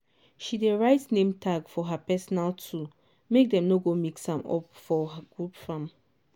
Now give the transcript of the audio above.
she dey write name tag for her personal tool make dem no go mix am up for group farm.